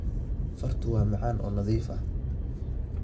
Fartu waa macaan oo nadiif ah.